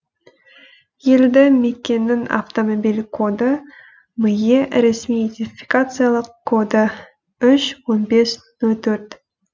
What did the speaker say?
елді мекеннің автомобиль коды ме ресми идентификациялық коды үш он бес нөл төрт